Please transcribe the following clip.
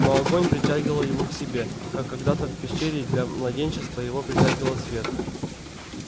но огонь притягивал его к себе как когда-то в пещере для младенчества его притягивал свет